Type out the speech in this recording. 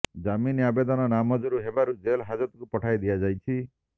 ଜାମିନ ଆବେଦନ ନାମଞ୍ଜୁର ହେବାରୁ ଜେଲ ହାଜଦକୁ ପଠାଇ ଦିଆଯାଇଛି